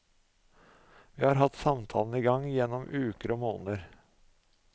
Vi har hatt samtalene i gang gjennom uker og måneder.